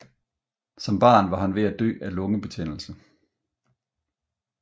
Som barn var han ved at dø af lungebetændelse